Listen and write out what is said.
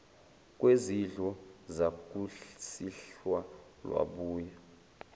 kwesidlo sakusihlwa lwabuya